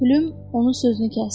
Pülüm onun sözünü kəsdi.